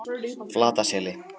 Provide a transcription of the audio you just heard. Flataseli